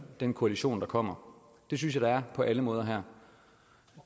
den koalition der kommer det synes jeg der er på alle måder her